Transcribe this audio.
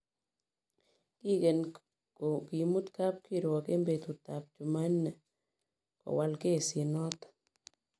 Kiken kimut kapkirwok en betut ab Chumanne kowal kesit noton